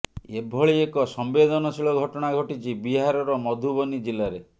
ଏଭଳି ଏକ ସମ୍ବେଦନଶୀଳ ଘଟଣା ଘଟିଛି ବିହାରର ମଧୁବନି ଜିଲାରେ